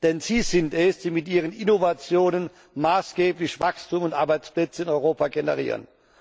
Denn sie sind es, die mit ihren Innovationen maßgeblich Wachstum und Arbeitsplätze in Europa generieren.